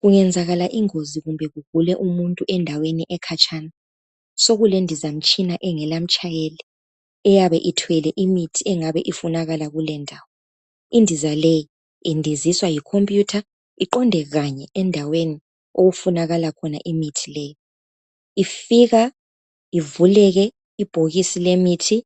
Kungenzakala ingozi kumbe kugule umuntu endaweni ekhatshana sokulendizamtshina engelamtshayeli eyabe ithwele imithi engaba ifunakala kuleyondawo. Indiza leyi indiziswa yikhomputha iqonde kanye endaweni okufunakala khona imithi leyi. Ifika ivuleke ibhokisi lemithi